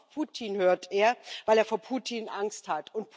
Nur auf Putin hört er, weil er vor Putin Angst hat.